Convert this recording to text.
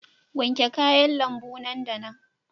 Wanke kayan lambu nan da nan.